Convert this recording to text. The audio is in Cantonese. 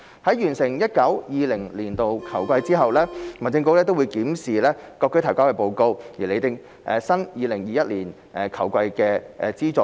在完成 2019-2020 年度球季後，民政局會檢視各區隊提交的報告，並釐定 2020-2021 球季的資助水平。